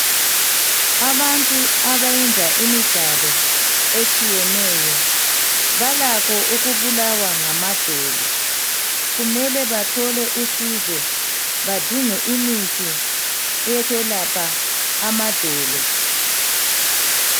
Abantu abayenza imidlalo etshiyeneyo, balakho ukubulawa ngamadolo. Kumele bathole usizo, badinge imithi eyokwelapha amadolo.